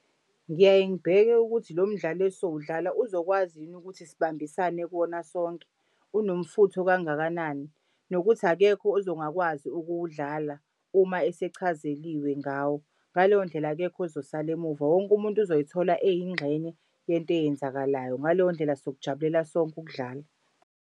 Ngiyaye ngibheke ukuthi lo mdlalo esowudlala uzokwazi yini ukuthi sibambisane kuwona sonke? Unomfutho kangakanani? Nokuthi akekho ozongakwazi ukuwudlala uma esechazeliwe ngawo. Ngaleyo ndlela akekho ozosala emuva, wonke umuntu uzoyithola eyingxenye yento eyenzakalayo. Ngaleyo ndlela sokujabulela sonke ukudlala.